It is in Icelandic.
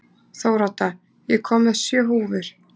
Þórodda, ég kom með sjö húfur!